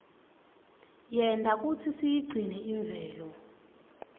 yenta kutsi siyigcine imvelo